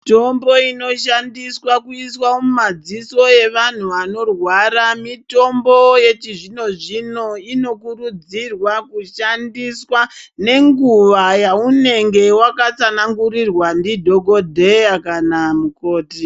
Mitombo inoshandiswa kuiswa mumadziso evantu vanorwara mitombo yechizvino zvino inokurudzirwa kushandiswa ngenguwa yaunenge wakatsanangurirwa ndidhokodheya kana mukoti.